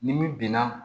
Ni min binna